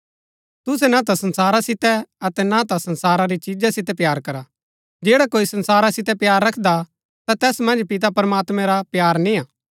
तुसै ना ता संसारा सितै अतै ना ता संसारा री चीजा सितै प्‍यार करा जैडा कोई संसारा सितै प्‍यार रखदा ता तैस मन्ज पिता प्रमात्मां रा प्‍यार निआं